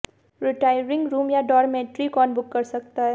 retiring room या dormitory कौन book कर सकता है